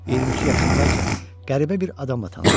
22 yaşındaykən qəribə bir adamla tanış olur.